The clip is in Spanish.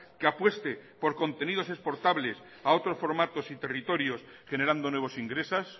que apueste por contenidos exportables a otros formatos y territorios generando nuevos ingresos